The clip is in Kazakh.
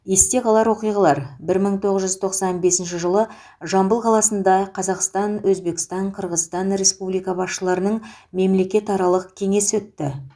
есте қалар оқиғалар бір мың тоғыз жүз тоқсан бесінші жылы жамбыл қаласында қазақстан өзбекстан қырғызстан республика басшыларының мемлекетаралық кеңесі өтті